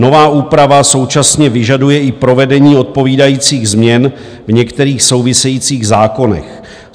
Nová úprava současně vyžaduje i provedení odpovídajících změn v některých souvisejících zákonech.